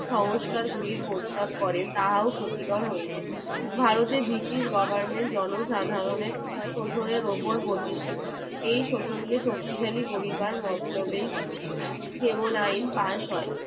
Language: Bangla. ভারতের ব্রিটিশ goverment জনসাধারণের শোষণের উপর প্রতিষ্ঠিত এই শোষণকে শক্তিশালী করিবার মতলবে যেমন আইন pass হয়